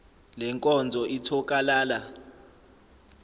le nkonzo ithokalala